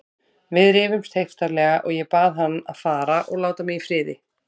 Við rifumst heiftarlega og ég bað hann að fara og láta mig í friði.